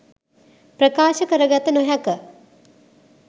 ප්‍රකාශ කර ගත නොහැක.